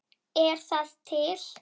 Er það til?